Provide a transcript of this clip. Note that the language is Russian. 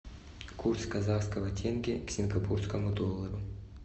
курс казахского тенге к сингапурскому доллару